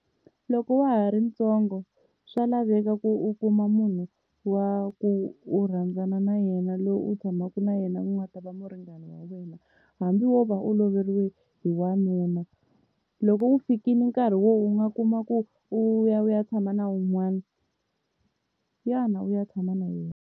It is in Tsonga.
Loko wa ha ri ntsongo swa laveka ku u kuma munhu wa ku u rhandzana na yena loyi u tshamaka na yena ku nga ta va muringani wa wena, hambi wo va u loveriwile hi wanuna loko wu fikile nkarhi wo u nga kuma ku u ya u ya tshama na wun'wana ya na u ya tshama na yena.